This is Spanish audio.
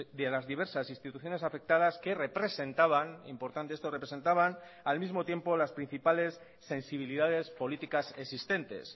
de las diversas instituciones afectadas que representaban importante esto representaban al mismo tiempo las principales sensibilidades políticas existentes